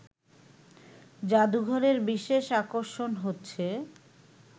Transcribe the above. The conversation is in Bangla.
জাদুঘরের বিশেষ আকর্ষণ হচ্ছে